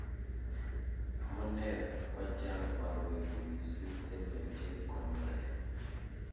amune ko chang' borwek mising' che mechei konore?